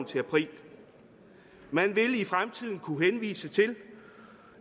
til april man vil i fremtiden kunne henvise til